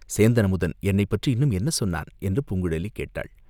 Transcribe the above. "சேந்தன் அமுதன் என்னைப்பற்றி இன்னும் என்ன சொன்னான்?" என்று பூங்குழலி கேட்டாள்.